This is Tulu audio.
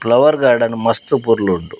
ಫ್ಲವರ್ ಗಾರ್ಡನ್ ಮಸ್ತ್ ಪೊರ್ಲುಂಡು.